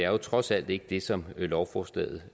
er trods alt ikke det som lovforslaget